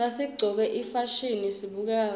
nasiqcoke ifasihni sibukeka kahle